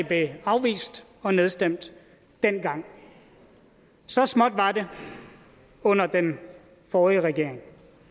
blev afvist og nedstemt dengang så småt var det under den forrige regering